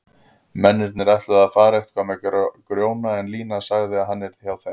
Mennirnir ætluðu að fara eitthvað með Grjóna en Lína sagði að hann yrði hjá þeim.